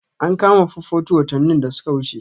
An kama 442 watannin da suka wuce.